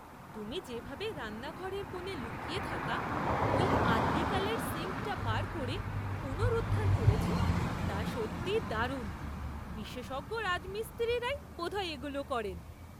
তুমি যেভাবে রান্নাঘরের কোণে লুকিয়ে থাকা ওই আদ্যিকালের সিঙ্কটা বার করে পুনরুদ্ধার করেছো তা সত্যিই দারুণ। বিশেষজ্ঞ রাজমিস্ত্রিরাই বোধহয় এগুলো করেন।